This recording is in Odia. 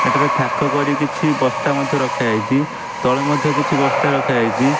ଏଠାରେ ଥାକ କରି କିଛି ବସ୍ତା ମଧ୍ୟ ରଖାଯାଇଚି ତଳେ ମଧ୍ୟ କିଛି ବସ୍ତା ରଖାଯାଇଚି।